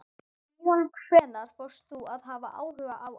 Síðan hvenær fórst þú að hafa áhuga á afa?